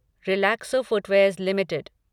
Relaxo footwears limited